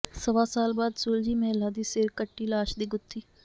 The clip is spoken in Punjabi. ਸਵਾ ਸਾਲ ਬਾਅਦ ਸੁਲਝੀ ਮਹਿਲਾ ਦੀ ਸਿਰ ਕੱਟੀ ਲਾਸ਼ ਦੀ ਗੁੱਥੀ